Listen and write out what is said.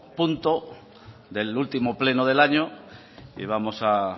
punto del último pleno del año y vamos a